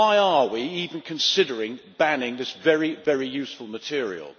Why are we even considering banning this very useful material?